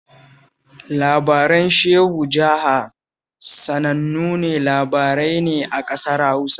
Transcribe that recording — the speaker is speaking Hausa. Labaran Shehu Jaha sanannun labarai ne a ƙasar Hausa